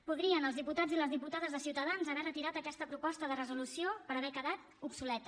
podrien els diputats i les diputades de ciutadans haver retirat aquesta proposta de resolució perquè havia quedat obsoleta